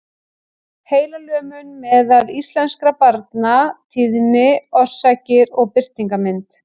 Heilalömun meðal íslenskra barna- tíðni, orsakir og birtingarmynd.